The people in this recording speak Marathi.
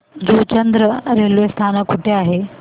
जुचंद्र रेल्वे स्थानक कुठे आहे